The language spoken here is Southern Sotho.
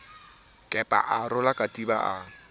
kepa a rola katiba a